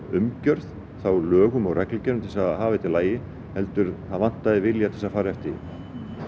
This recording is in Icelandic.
umgjörð lögum og reglugerðum til að hafa þetta í lagi heldur vantaði vilja til þess að fara eftir því